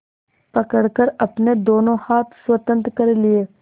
पकड़कर अपने दोनों हाथ स्वतंत्र कर लिए